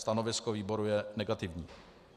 Stanovisko výboru je negativní.